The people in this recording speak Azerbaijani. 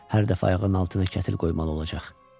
Hər dəfə ayağının altına kətil qoymalı olacaq.